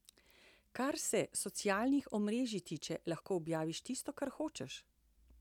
Kar se socialnih omrežij tiče, lahko objaviš tisto, kar hočeš.